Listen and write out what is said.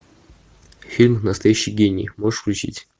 фильм настоящий гений можешь включить